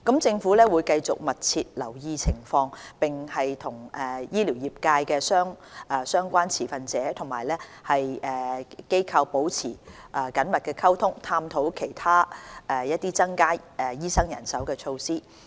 政府會繼續密切留意情況，並與醫療業界的相關持份者和機構保持緊密溝通，探討其他增加醫生人手的措施。